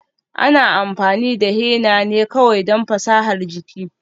Ana amfani da henna ne kawai don fasahar jiki.